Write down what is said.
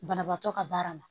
Banabaatɔ ka baara ma